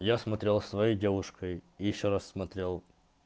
я смотрел своей девушкой и ещё раз смотрел